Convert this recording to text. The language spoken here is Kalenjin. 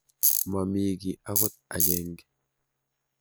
Momii kiy akot agenge.